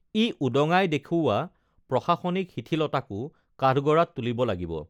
ই উদঙাই দেখুওৱা প্ৰশাসনিক শিথিলতাকো কাঠগড়াত তুলিব লাগিব